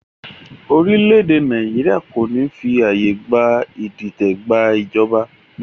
Orílẹ̀ èdè Nàìjíríà kò ní fi àyè gba Ìdìtẹ̀ gba ìjọba